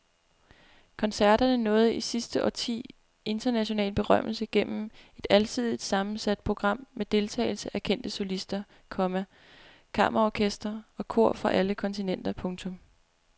Koncerterne nåede i sidste årti international berømmelse gennem et alsidigt sammensat program med deltagelse af kendte solister, komma kammerorkestre og kor fra alle kontinenter. punktum